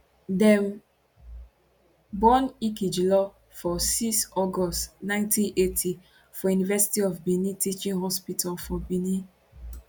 dem born ikhilor for 6 august 1980 for university of benin teaching hospitalfor benin